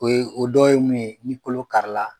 O ye o dɔ ye mun ye ni kolo karila